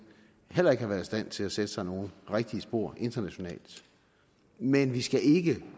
heller ikke har været i stand til at sætte sig nogen rigtige spor internationalt men vi skal ikke